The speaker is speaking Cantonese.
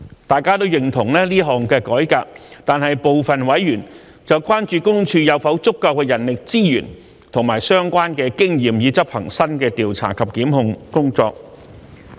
大家都認同這項改革，但部分委員關注私隱公署有否足夠人力資源和相關的經驗以執行新的調查及檢控工作。